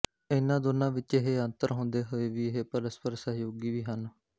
ਇਨ੍ਹਾਂ ਦੋਹਾਂ ਵਿਚ ਇਹ ਅੰਤਰ ਹੁੰਦੇ ਹੋਏ ਵੀ ਇਹ ਪਰਸਪਰ ਸਹਿਯੋਗੀ ਵੀ ਹਨ